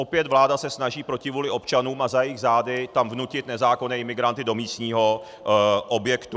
Opět vláda se snaží proti vůli občanů a za jejich zády tam vnutit nezákonné imigranty do místního objektu.